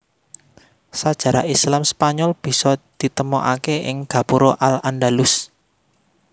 Sajarah Islam Spanyol bisa ditemokaké ing gapura al Andalus